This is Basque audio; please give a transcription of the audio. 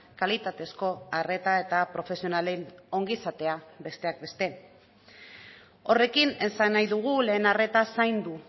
kalitatezko arreta eta profesionalen ongizatea besteak beste horrekin esan nahi dugu lehen arreta zaindu